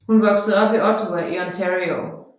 Hun voksede op i Ottawa i Ontario